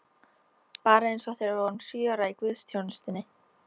Bara eins og þegar við vorum sjö ára í guðsþjónustunni!